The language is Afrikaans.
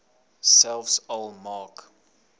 selfs al maak